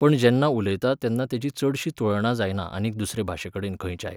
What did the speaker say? पूण जेन्ना उलयता तेन्ना तेची चडशी तुळा जायना आनीक दुसरे भाशेकडेन खंयच्याय.